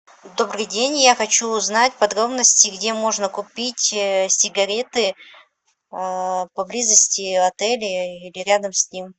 добрый день я хочу узнать подробности где можно купить сигареты поблизости отеля или рядом с ним